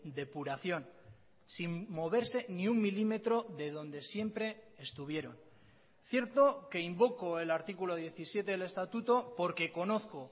depuración sin moverse ni un milímetro de donde siempre estuvieron cierto que invoco el artículo diecisiete del estatuto porque conozco